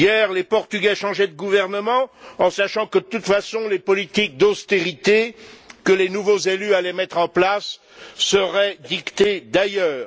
Hier, les Portugais changeaient de gouvernement en sachant que, de toute façon, les politiques d'austérité que les nouveaux élus allaient mettre en place seraient dictées ailleurs.